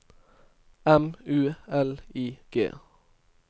M U L I G